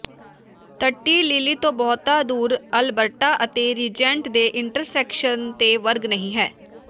ਤੱਟੀ Lily ਤੋਂ ਬਹੁਤਾ ਦੂਰ ਅਲਬਰਟਾ ਅਤੇ ਰੀਜੈਂਟ ਦੇ ਇੰਟਰਸੈਕਸ਼ਨ ਤੇ ਵਰਗ ਨਹੀਂ ਹੈ